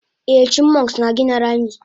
Eh chipmunks na gina rami